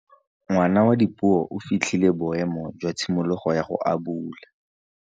Ngwana wa Dipuo o fitlhile boêmô jwa tshimologô ya go abula.